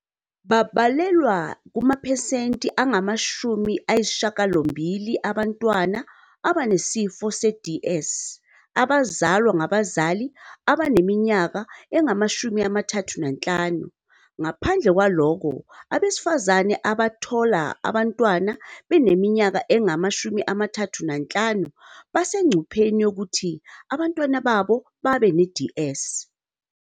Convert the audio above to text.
Babalelwa kumaphesenti angama-80 abantwana abane sifo se-DS abazalwa ngabazali abaneminyaka engama-35, ngaphandle kwalokho abesifazane abathola abantwana beneminyaka engama-35 basengcupheni yokuthi abantwana babo babe ne-DS."